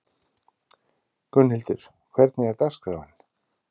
Gunnhildur, hvernig er dagskráin?